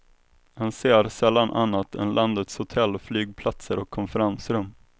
Han ser sällan annat än landets hotell, flygplatser och konferensrum.